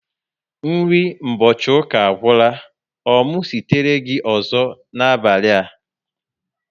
Nri mgbochi ụka agwula. Ọ mụ sitere gị ọzọ n'abali a?